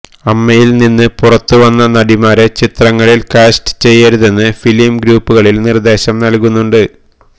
അമ്മയില് നിന്ന് പുറത്തു വന്ന നടിമാരെ ചിത്രങ്ങളില് കാസ്റ്റ് ചെയ്യരുതെന്ന് ഫിലിം ഗ്രൂപ്പുകളില് നിര്ദേശം നല്കുന്നുണ്ട്